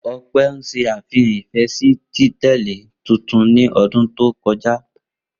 Ope n ṣe afihan ifẹ si tile tuntun ni ọdun to kọja.